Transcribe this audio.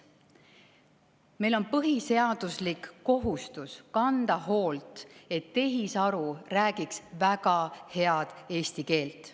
Meil on põhiseaduslik kohustus kanda hoolt, et tehisaru räägiks väga head eesti keelt.